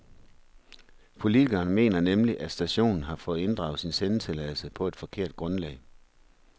Politikerne mener nemlig, at stationen har fået inddraget sin sendetilladelse på et forkert grundlag.